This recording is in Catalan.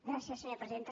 gràcies senyora presidenta